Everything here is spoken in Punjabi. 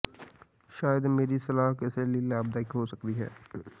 ਸ਼ਾਇਦ ਮੇਰੀ ਸਲਾਹ ਕਿਸੇ ਲਈ ਲਾਭਦਾਇਕ ਹੋ ਸਕਦੀ ਹੈ